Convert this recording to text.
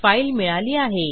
file मिळाली आहे